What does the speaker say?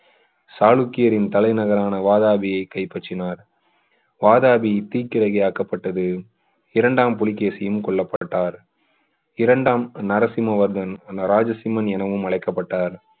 சாளுக்கியரின் தலைநகரான வாதாபியை கைப்பற்றினார் வாதாபி தீக்கிரையாக்கப்பட்டது இரண்டாம் புலிகேசியும் கொல்லப்பட்டார் இரண்டாம் நரசிம்ம வர்மன் ராஜசிம்மன் எனவும் அழைக்கப்பட்டார்